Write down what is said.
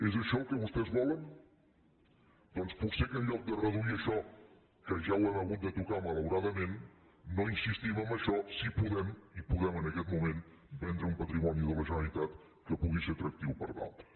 és això el que vostès volen doncs potser que en lloc de reduir això que ja ho hem hagut de tocar malauradament no insistim en això si podem i podem en aquest moment vendre un patrimoni de la generalitat que pugui ser atractiu per a altres